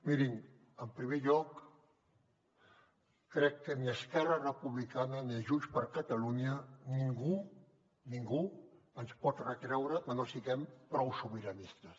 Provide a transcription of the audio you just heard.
mirin en primer lloc crec que ni a esquerra republicana ni a junts per catalunya ningú ningú ens pot retreure que no siguem prou sobiranistes